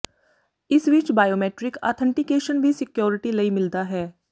ਇਸ ਵਿਚ biometric authentication ਵੀ ਸਕਿਓਰਿਟੀ ਲਈ ਮਿਲਦਾ ਹੈ